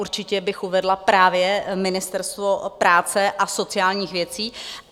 Určitě bych uvedla právě Ministerstvo práce a sociálních věcí.